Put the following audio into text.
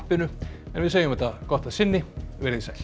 en við segjum þetta gott að sinni veriði sæl